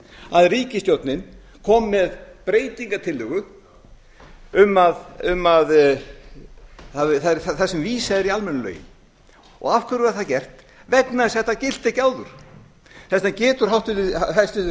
að ríkisstjórnin kom með breytingartillögu þar sem vísað er í almennu lögin af hverju var það get vegna þess að þetta gilti ekki áður þess vegna getur hæstvirtur